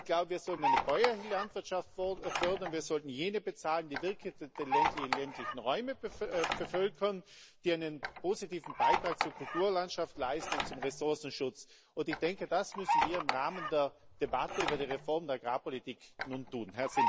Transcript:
Ich glaube, wir sollten eine bäuerliche Landwirtschaft fördern, wir sollten jene bezahlen, die wirklich die ländlichen Räume bevölkern, die einen positiven Beitrag zur Kulturlandschaft und zum Ressourcenschutz leisten. Ich denke, das müssen wir im Rahmen der Debatte über die Reform der Agrarpolitik nun tun.